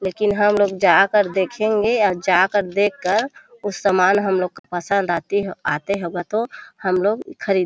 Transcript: लेकिन हमलोग जा कर देखेंगे और जा कर देख कर कुछ सामान हमलोग का पसंद आती हो आते होगा तो हमलोग ख़रीदे --